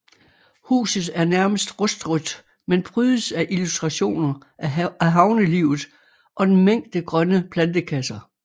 Huset er nærmest rustrødt men prydes af illustrationer af havnelivet og en mængde grønne plantekasser